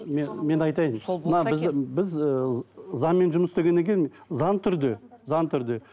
мен айтайын мына біз біз ыыы заңмен жұмыс істегеннен кейін заң түрде заң түрде